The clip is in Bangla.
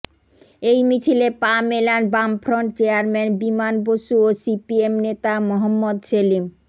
এই মিছিলে পা মেলান বামফ্রন্ট চেয়ারম্যান বিমান বসু ও সিপিএম নেতা মহম্মদ সেলিম